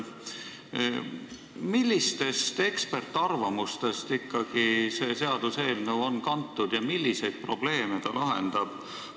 Millistest eksperdiarvamustest ikkagi see seaduseelnõu on kantud ja milliseid probleeme ta lahendab?